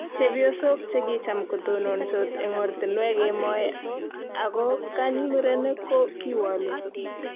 chepyosok che kicham kotononsot eng' ortinwek kemoi aku kany murenik ko kiwolu